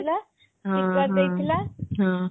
ଥିଲା kitkat ଦେଇ ଥିଲା